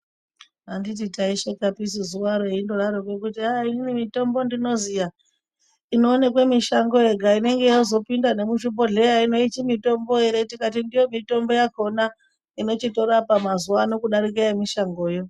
Anditi taishekapisu zuvaro eindodaroko kuti aa inini mitombo ndinoziya inoonekwe mishango yega inenge yozopinda nemuzvibhedhlera hino ichimitombo ere tikati ndiyo mitombo yakona inochitorapa mazuvaano kudarika yemushangoyo.